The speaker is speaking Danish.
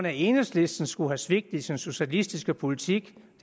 at enhedslisten skulle have svigtet sin socialistiske politik